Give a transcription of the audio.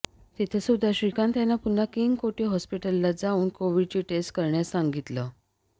तिथंसुद्धा श्रीकांत यांना पुन्हा किंग कोटी हॉस्पिटलाच जाऊन कोव्हिडची टेस्ट करण्यास सांगितलं